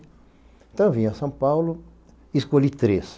Então eu vim a São Paulo, escolhi três.